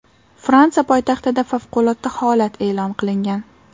Fransiya poytaxtida favqulodda holat e’lon qilingan.